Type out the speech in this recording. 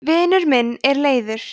vinur minn er leiður